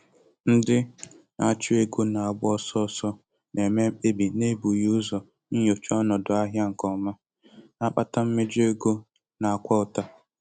Ndị na-achụ ego na-agba ọsọ ọsọ na-eme mkpebi n'ebughị ụzọ nyochaa ọnọdụ ahịa nke ọma, na-akpata mmejọ ego na-akwa ụta.